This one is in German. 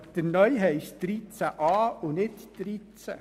Aber der neue Artikel heisst 13a und nicht 13.